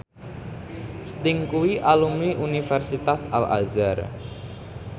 Sting kuwi alumni Universitas Al Azhar